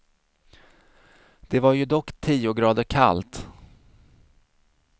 Det var ju dock tio grader kallt.